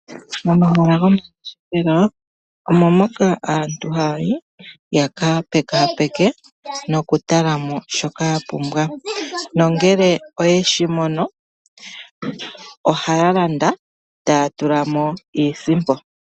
Momahala goku ngeshefela omo moka aantu haya yi yakapekapeke noku talamo shoka yapumbwa, nongele oyeshi mono ohaya landa taya tulamo iisimpo.